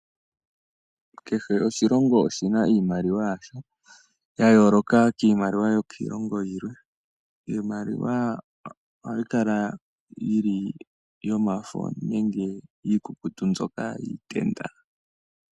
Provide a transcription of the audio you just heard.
Kehe oshilongo oshina iimaliwa yasho. Ya yooloka kiimaliwa yokiilongo yilwe. Iimaliwa ohayi kala yomafo nenge iikukutu mbyoka yiitenda.